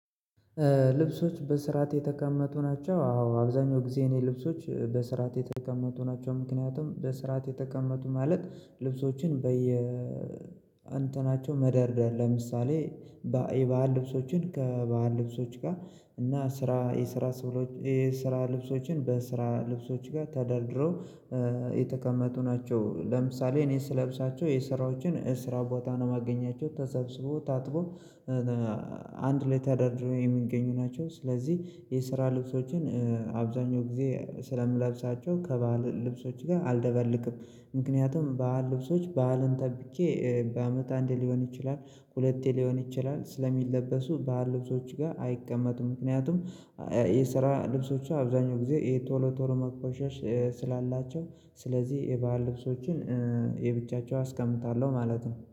ልብሶች በስርዓት የተቀመጡ ናቸው? አዎ አብዛኛው ጊዜ የኔ ልብሶች በስርዓት የተቀመጡ ናቸው ምክንያቱም በስርዓት የተቀመጡ ማለት ልብሶችን በየ አንትናቸው መደርደር ለምሳሌ የባህል ልብሶችን ከባህል ልብሶች ጋር እና ስራ የስራ ስብሎ የስራ ልብሶችን በስራ ልብሶች ጋር ተደርድረው የተቀመጡ ናቸው ለምሳሌ እኔ ስለብሳቸው የስራዎችን እስራ ቦታ ነው የማገኛቸው ተሰብስቦ ታጥቦ አንድ ላይ ተደርድሮ የምንገኙ ናቸው፤ ስለዚህ የስራ ልብሶችን አብዛኛው ጊዜ ስለምለብሳቸው ከበዓል ልብሶች ጋር አልደበልቅም፤ ምክንያቱም በአዓል ልብሶች በአዓልን ጠብቄ በአመት አንዴ ሊሆን ይችላል፣ ሁለቴ ሊሆን ይችላል ስለሚለበሱ በዓል ልብሶች ጋር አይቀመጡም ምክንያቱም የስራ ልብሶች አብዛኛው ጊዜ ይሄ ቶሎ ቶሎ መቆሸሽ ስላላቸው ስለዚህ የበአል ልብሶችን ለብቻቸው አስቀምጣለሁ ማለት ነው።